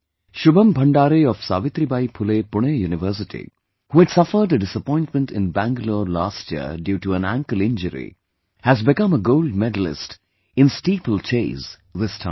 Shubham Bhandare of Savitribai Phule Pune University, who had suffered a disappointment in Bangalore last year due to an ankle injury, has become a Gold Medalist in Steeplechase this time